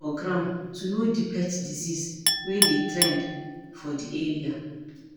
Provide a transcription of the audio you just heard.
Keep ear for ground to know di pet disease wey dey trend for di area